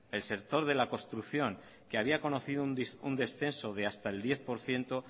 el sector de la construcción que había conocido un descenso de hasta el diez por ciento